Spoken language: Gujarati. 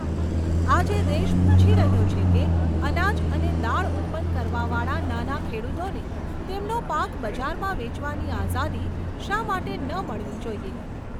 આજે દેશ પૂછી રહ્યો છે કે, અનાજ અને દાળ ઉત્પન્ન કરવાવાળા નાના ખેડૂતોને તેમનો પાક બજારમાં વેચવાની આઝાદી શા માટે ન મળવી જોઇએ?